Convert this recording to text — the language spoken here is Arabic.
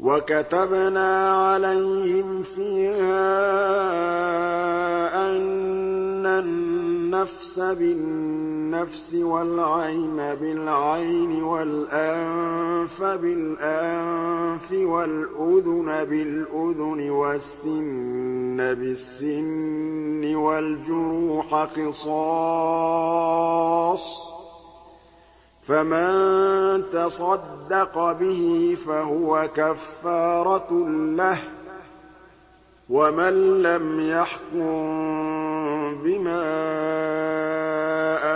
وَكَتَبْنَا عَلَيْهِمْ فِيهَا أَنَّ النَّفْسَ بِالنَّفْسِ وَالْعَيْنَ بِالْعَيْنِ وَالْأَنفَ بِالْأَنفِ وَالْأُذُنَ بِالْأُذُنِ وَالسِّنَّ بِالسِّنِّ وَالْجُرُوحَ قِصَاصٌ ۚ فَمَن تَصَدَّقَ بِهِ فَهُوَ كَفَّارَةٌ لَّهُ ۚ وَمَن لَّمْ يَحْكُم بِمَا